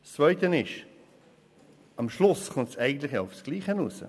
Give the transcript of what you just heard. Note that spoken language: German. Zweitens: Am Schluss kommt es eigentlich auf dasselbe hinaus.